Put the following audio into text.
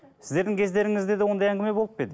сіздердің кездеріңізде де ондай әңгіме болып па еді